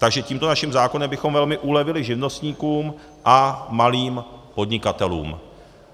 Takže tímto naším zákonem bychom velmi ulevili živnostníkům a malým podnikatelům.